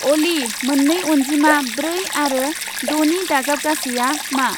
अलि, मोन्नै अनजिमा ब्रै आरो द'नि दाजाबगासैया मा?